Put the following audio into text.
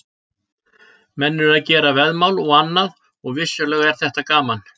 Menn eru að gera veðmál og annað og vissulega er þetta gaman.